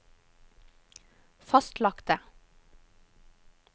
fastlagte